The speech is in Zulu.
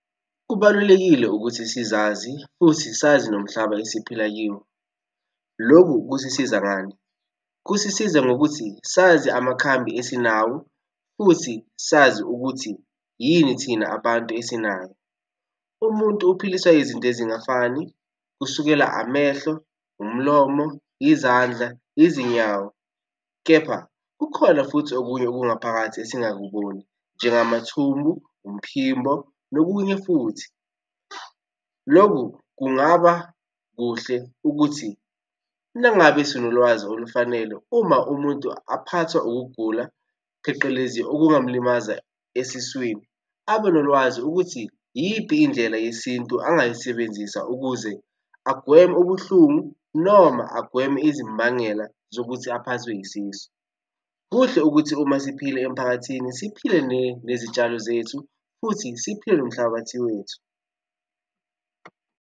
Kubalulekile ukuthi sizazi futhi sazi nomhlaba esiphila kiwo. Lokhu kusisiza ngani? Kusisiza ngokuthi sazi amakhambi esinawo futhi sazi ukuthi yini thina abantu esinayo. Umuntu uphiliswa yizinto ezingafani, kusukela amehlo, umlomo, izandla, izinyawo, kepha kukhona futhi okunye okungaphakathi esingakuboni, njengamathumbu, umphimbo nokunye futhi. Loku kungaba kuhle ukuthi nangabe sinolwazi olufanele uma umuntu aphathwa ukugula pheqelezi okungamlimaza esiswini, abe nolwazi ukuthi iyiphi indlela yesintu angayisebenzisa ukuze agweme ubuhlungu noma agweme izimbangela zokuthi aphathwe isisu. Kuhle ukuthi uma siphila emphakathini siphile nezitshalo zethu futhi siphile nomhlabathi wethu.